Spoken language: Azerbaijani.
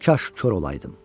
Kaş kor olaydım.